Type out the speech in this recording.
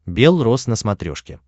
белрос на смотрешке